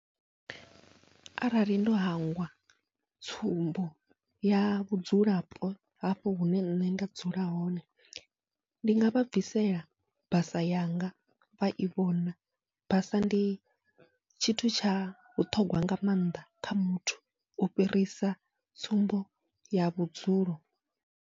Arali ndo hangwa tsumbo ya vhudzulapo hafho hune nṋe nda dzula hone, ndi ngavha bvisela basa yanga vha i vhona basa ndi tshithu tsha vhuṱhogwa nga maanḓa kha muthu u fhirisa tsumbo ya vhudzulo.